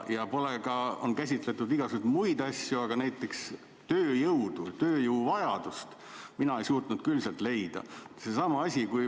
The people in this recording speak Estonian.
On käsitletud igasuguseid muid asju, aga näiteks tööjõu valdkonda, tööjõu vajadust mina ei suutnud sealt leida.